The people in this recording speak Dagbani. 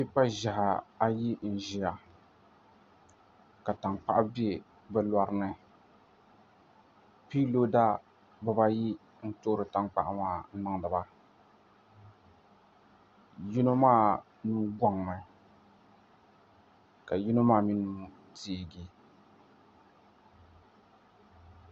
Tipa ʒiɛhi ayi n ʒiya ka tankpaɣu bɛ bi lorini piiroda bibayi n toori tankpaɣu maa n niŋdi ba yino maa nuu goŋmi ka yino maa mii nuu teegi